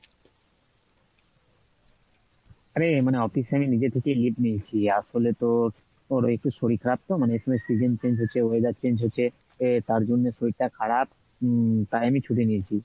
আরে মানে office এ আমি নিজে থেকে leave নিয়েছি আসলে তোর, তোর একটু শরীর খারাপ তো মানে এই সময় season change হচ্ছে weather change হচ্ছে আহ তার জন্যে শরীরটা খারাপ উম তাই আমি ছুটি নিয়েছি।